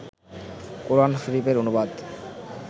কোরআন শরীফের অনুবাদ